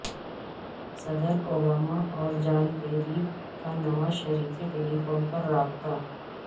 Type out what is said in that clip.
صدر اوباما اور John Kerry کا نواز شریف سے ٹیلی فون پر رابطہ